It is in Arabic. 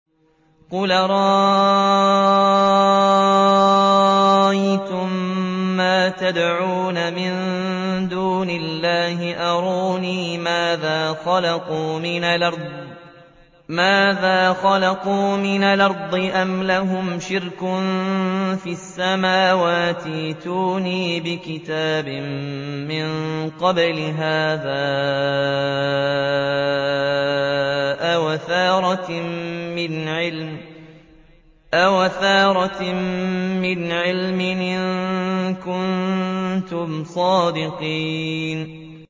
قُلْ أَرَأَيْتُم مَّا تَدْعُونَ مِن دُونِ اللَّهِ أَرُونِي مَاذَا خَلَقُوا مِنَ الْأَرْضِ أَمْ لَهُمْ شِرْكٌ فِي السَّمَاوَاتِ ۖ ائْتُونِي بِكِتَابٍ مِّن قَبْلِ هَٰذَا أَوْ أَثَارَةٍ مِّنْ عِلْمٍ إِن كُنتُمْ صَادِقِينَ